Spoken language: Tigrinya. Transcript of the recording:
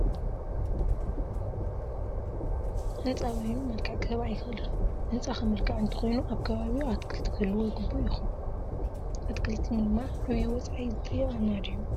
ሕንፃ በይኑ መልክዕ ክህብ ኣይኽእልን፡፡ ህንፃ ክምልክዕ እንተኾይኑ ኣብ ከባቢኡ ኣትክልትታት ክህልውዎ ግቡእ ይኾን፡፡ ኣትኽልቲ ምልማዕ ዓብዪ ወፃኢ ዝጥይቐና ድዩ?